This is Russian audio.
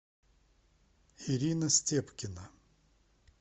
ирина степкина